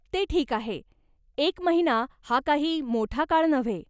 ते ठीक आहे. एक महिना हा काही मोठा काळ नव्हे.